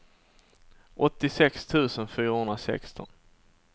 åttiosex tusen fyrahundrasexton